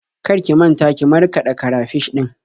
Kar ki manta ki markaɗa karafish ɗin.